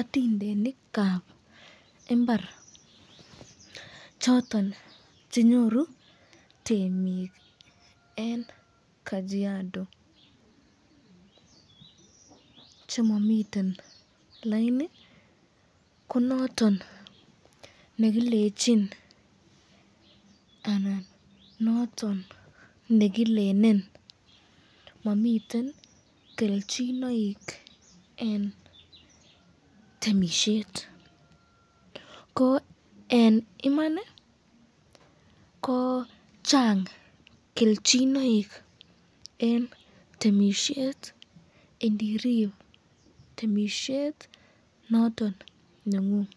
Otindenikab imbar choton chenyoru temik eng kajiado chemamiten laini ko noton nekilenchin anan noton nekilelen mamiten kelchinoik eng temisyet ko eng Iman ko chang kelchinoik eng temisyet indirib temisyet noton nengung,